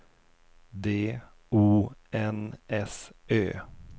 D O N S Ö